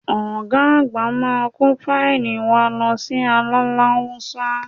Ọ̀ga àgbà máa kó fáílì wa lọ sí Aláláúsá